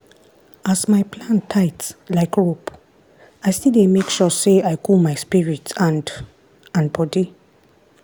as my plan tight like rope i still dey make sure say i cool my spirit and and body.